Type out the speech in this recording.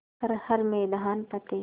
कर हर मैदान फ़तेह